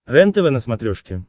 рентв на смотрешке